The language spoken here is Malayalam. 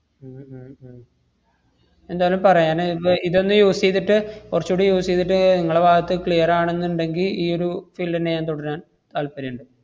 ഉം ഉം ഉം എന്തായാലും പറയാന്~ ഇപ്പ ഇതൊന്ന് use ചെയ്തിട്ട് കൊറച്ചൂടി use ചെയ്തിട്ട് ഏർ ങ്ങളെ ഭാഗത്ത് clear ആണെന്നിണ്ടെങ്കി ഈയൊരു field ന്നെ ഞാൻ തുടരാൻ താല്പര്യണ്ട്.